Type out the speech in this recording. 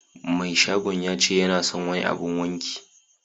Mai shagon yace yana son wani abun waki.